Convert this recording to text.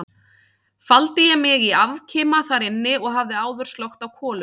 Faldi ég mig í afkima þar inni og hafði áður slökkt á kolunni.